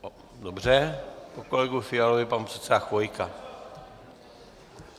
Dobře, po kolegovi Fialovi pan předseda Chvojka.